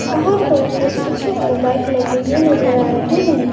बाहर पर एक स्कूटी और बाइक लगे हुए नजर आ रहे हैं।